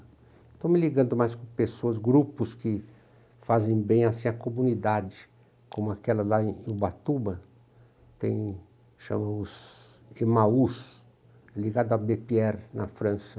Estou me ligando mais com pessoas, grupos que fazem bem assim a comunidade, como aquela lá em Ubatuba, tem, chama-se, ligado a, na França.